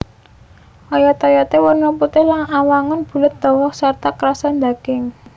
Oyot oyoté werna putih lan awangun bulet dawa sarta krasa ndaging